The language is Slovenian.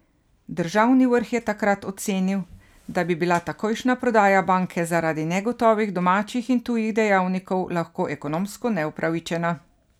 Državni vrh je takrat ocenil, da bi bila takojšnja prodaja banke zaradi negotovih domačih in tujih dejavnikov lahko ekonomsko neupravičena.